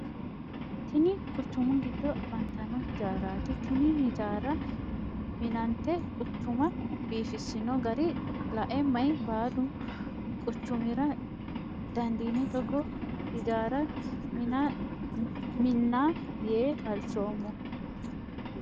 Tinni kuchumu gido afantano hijaaraati. Tinni hijaara minnante quchuma biifisino gara lae mayi baalu quchumira dandiine togoo hijaara Minna yee halchoomo.